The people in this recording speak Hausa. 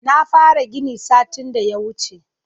Na fara gini satin da ya wuce